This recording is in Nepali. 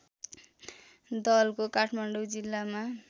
दलको काठमाडौँ जिल्लामा